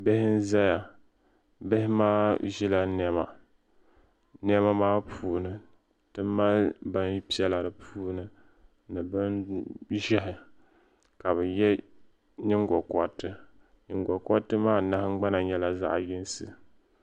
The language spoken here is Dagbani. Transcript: Bihi n ʒɛya bihi maa ʒila niɛma niɛma maa puuni ti mali bin piɛla di puuni ni bin ʒiɛhi ka bi yɛ nyingokoriti nyingokoriti maa nahangbana nyɛla zaɣ yinsi